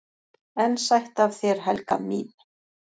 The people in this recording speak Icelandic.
"""EN SÆTT AF ÞÉR, HELGA MÍN!"""